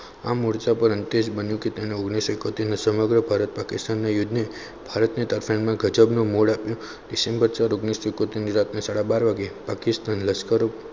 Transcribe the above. આ મોરચા પર અંતે ઓગણીસો ઈકોતેર ના સમગ્ર ભારત પાકિસ્તાનના યુદ્ધને ભારતની તરફેણમાં ગજબનો મોડ આપ્યો ડિસેમ્બર ચાર ઓગણીસો ઈકોતેર ની રાત્રે સદા બાર વાગે પાકિસ્તાન લશ્કરો